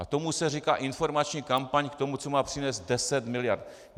A tomu se říká informační kampaň k tomu, co má přinést deset miliard.